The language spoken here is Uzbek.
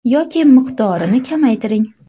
Yoki miqdorini kamaytiring.